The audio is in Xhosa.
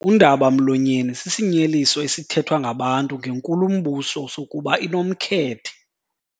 Undaba-mlonyeni sisinyeliso esithethwa ngabantu ngenkulumbuso sokuba inomkhethe.